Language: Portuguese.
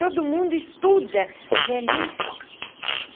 Todo mundo estuda a velhice.